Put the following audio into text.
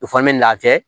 O fana bɛ na kɛ